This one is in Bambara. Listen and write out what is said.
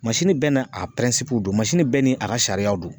Masini bɛɛ n'a a pirɛnsipuw don masini bɛɛ n'a a ka sariyaw don